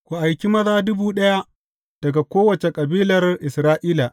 Ku aiki maza dubu ɗaya daga kowace kabilar Isra’ila.